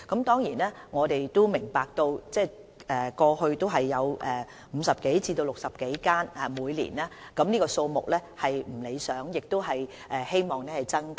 當然，我們也明白過去每年只有50多至60多間小學的學生可接種疫苗，這個數目實在有欠理想，大家也希望可以增加。